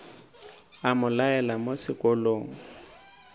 a mo laela mo sekolong